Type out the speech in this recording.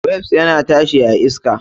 Wasp yana tashi a iska.